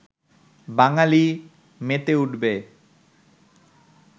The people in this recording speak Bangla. বাঙালি মেতে উঠবে